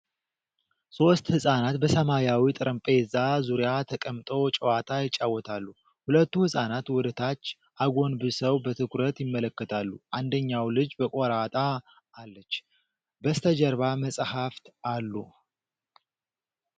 ሦስት ሕፃናት በሰማያዊ ጠረጴዛ ዙሪያ ተቀምጠው ጨዋታ ይጫወታሉ። ሁለቱ ሕፃናት ወደ ታች አጎንብሰው በትኩረት ይመለከታሉ፤ አንደኛው ልጅ በቆራጣ አለች። በስተጀርባ መጽሐፍት አሉ።